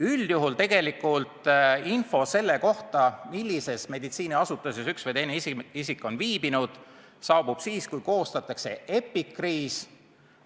Üldjuhul saabub info selle kohta, millises meditsiiniasutuses üks või teine isik on viibinud, siis, kui on koostatud epikriis.